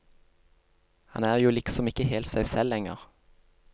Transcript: Han er jo liksom ikke helt seg selv lenger.